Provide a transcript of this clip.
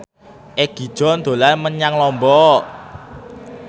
Egi John dolan menyang Lombok